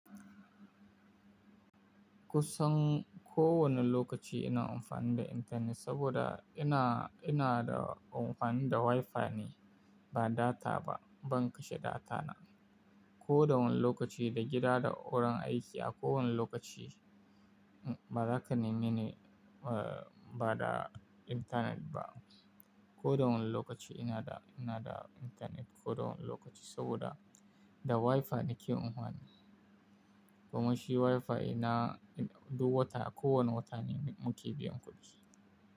Kusan ko wane lokaci ina amfani da intanet saboda ina, ina da amfani da Wi-Fi ne ba data ba. Ban kashe data na. Ko da wane lokaci, da gida da wurin aiki a kowane lokaci ba zaka ni nene, eh ba da intanet ba. Ko da wane lokaci ina da, ina da intanet ko da wane lokaci saboda da Wi-Fi nake amfani. Bama shi Wi-Fi ina duk wata a kowane wata muke biyan kuɗi.